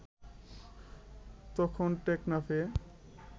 তখন টেকনাফে